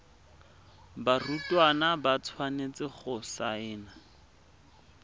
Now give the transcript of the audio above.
barutwana ba tshwanetse go saena